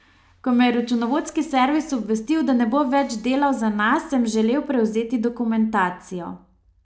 Ko me je računovodski servis obvestil, da ne bo več delal za nas, sem želel prevzeti dokumentacijo.